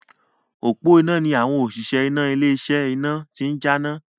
Òpó iná ni àwọn òṣìṣẹ́ iná ilé iṣẹ́ iná ti ń jáná.